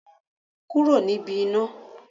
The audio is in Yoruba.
Kúrò níbi iná.